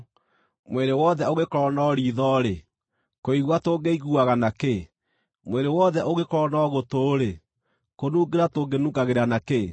Mwĩrĩ wothe ũngĩkorwo no riitho-rĩ, kũigua tũngĩiguaga na kĩ? Mwĩrĩ wothe ũngĩkorwo no gũtũ-rĩ, kũnungĩra tũngĩnungagĩra na kĩ?